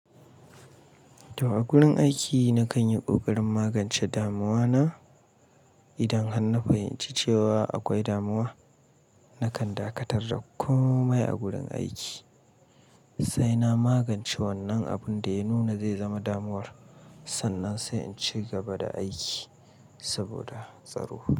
To a gurin aiki na kan yi ƙoƙarin magance damuwa na. Idan har na fahimci cewa akwai damuwa, na kan dakatar da komai a gurin aiki sai na magance wannan abunda ya nuna zai zama damuwar, sannan sai in ci gaba da aiki saboda tsaro.